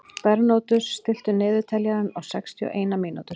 Bernódus, stilltu niðurteljara á sextíu og eina mínútur.